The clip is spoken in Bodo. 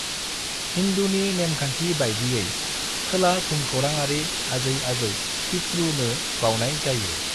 हिंदूनि नेमखान्थि बायदियै, खोला भुमखोराङारि आजै-आजौ (पित्रु) नो बावनाय जायो।